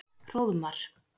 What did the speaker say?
Hróðmar